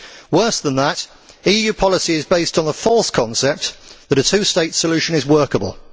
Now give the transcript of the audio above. Worse than that, EU policy is based on the false concept that a two state solution is workable.